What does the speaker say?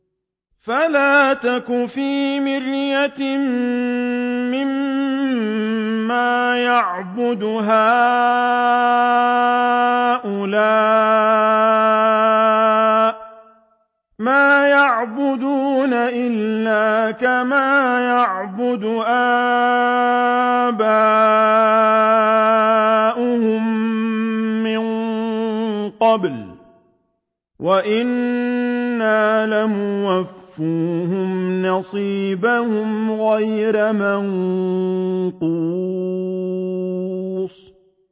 فَلَا تَكُ فِي مِرْيَةٍ مِّمَّا يَعْبُدُ هَٰؤُلَاءِ ۚ مَا يَعْبُدُونَ إِلَّا كَمَا يَعْبُدُ آبَاؤُهُم مِّن قَبْلُ ۚ وَإِنَّا لَمُوَفُّوهُمْ نَصِيبَهُمْ غَيْرَ مَنقُوصٍ